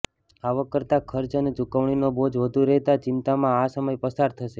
આવક કરતાં ખર્ચ અને ચૂકવણીનો બોજ વધુ રહેતા ચિંતામાં આ સમય પસાર થશે